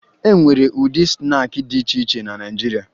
E nwere ụdị snaakị dị iche iche na Naịjirịa